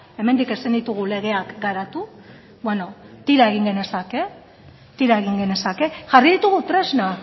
hemendik ezin ditugu legeak garatu beno tira egin genezake tira egin genezake jarri ditugu tresnak